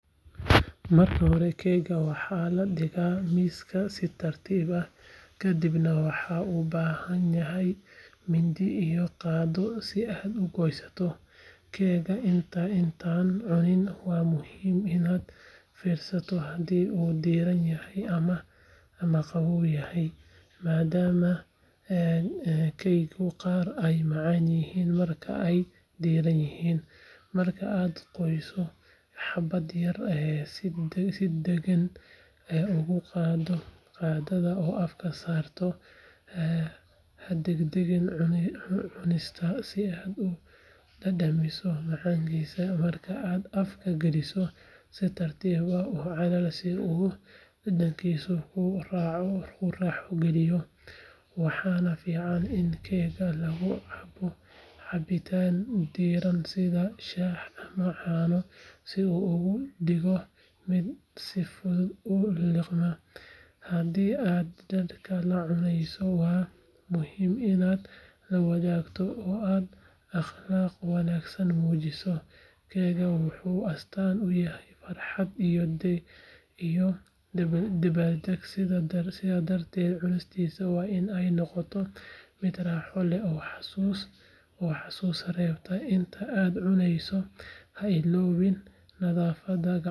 Marka hore, keegga waxaa la dhigaa miiska si tartiib ah, kadibna waxaad u baahan tahay mindi iyo qaaddo si aad u goyso. Keegga intaadan cunin waa muhiim inaad fiiriso haddii uu diiran yahay ama qabow yahay, maadaama keegyada qaar ay macaan yihiin marka ay diirran yihiin. Marka aad goyso xabbad yar, si deggan ugu qaado qaaddada oo afka saar. Ha degdegin cunista, si aad u dhadhamiso macaanidiisa. Marka aad afka geliso, si tartiib ah u calali si uu dhadhankiisu kuu raaxo geliyo. Waxaa fiican in keegga lagu cabo cabitaan diirran sida shaah ama caano si uu uga dhigo mid si fudud u liqma. Haddii aad dadka la cunayso, waa muhiim inaad la wadaagto oo aad akhlaaq wanaagsan muujiso. Keegga wuxuu astaan u yahay farxad iyo dabaaldeg, sidaas darteed cunidiisa waa in ay noqotaa mid raaxo leh oo xasuus reebta. Inta aad cunayso, ha iloobin nadaafadda, gacmaha.